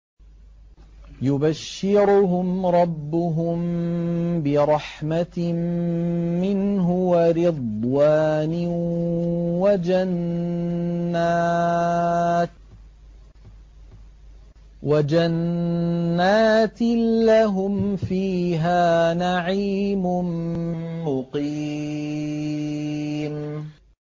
يُبَشِّرُهُمْ رَبُّهُم بِرَحْمَةٍ مِّنْهُ وَرِضْوَانٍ وَجَنَّاتٍ لَّهُمْ فِيهَا نَعِيمٌ مُّقِيمٌ